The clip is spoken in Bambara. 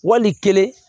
Wali kelen